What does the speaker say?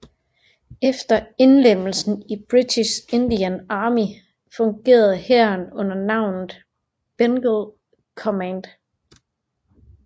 Efter indlemmelsen i British Indian Army fungerede hæren under navnet Bengal Command